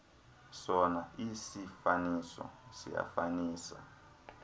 sona isiifaniso siyafanisa